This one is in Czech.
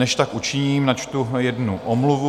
Než tak učiním, načtu jednu omluvu.